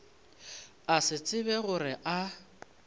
a se tsebe gore a